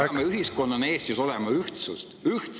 Me peame ühiskonnana Eestis olema ühtsed.